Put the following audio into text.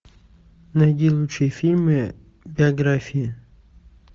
найди лучшие фильмы биографии